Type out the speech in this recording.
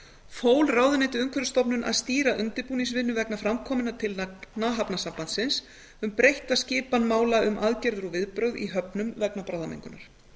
fól ráðuneytið umhverfisstofnun að stýra undirbúningsvinnu vegna framkominna tillagna hafnasambandsins um breytta skipan mála um aðgerðir og viðbrögð í höfnum vegna bráðamengunar